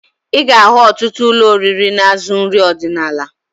Ị ga-ahụ otụtụ ụlọ oriri na-azụ nrị ọdịnaala